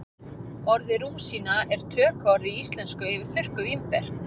Orðið rúsína er tökuorð í íslensku yfir þurrkuð vínber.